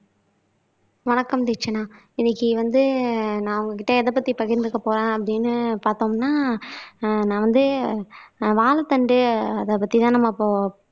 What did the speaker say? வணக்கம் தீக்ஷனா இன்னைக்கு வந்து நான் உங்க கிட்ட எத பத்தி பகிர்ந்துக்க போறேன் அப்படீன்னு பார்த்தோம்னா ஆஹ் நான் வந்து வாழைத்தண்டு அதைப் பத்திதான் நம்ம இப்போ